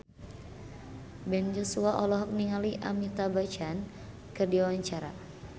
Ben Joshua olohok ningali Amitabh Bachchan keur diwawancara